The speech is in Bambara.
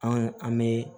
An an bɛ